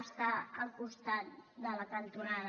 està al costat de la cantonada